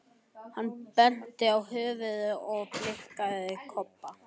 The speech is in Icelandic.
Hann benti á höfuðið á sér og blikkaði Kobba.